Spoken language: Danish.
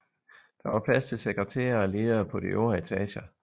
Der var plads til sekretærer og ledere på de øvre etager